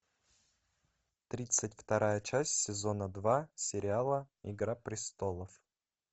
тридцать вторая часть сезона два сериала игра престолов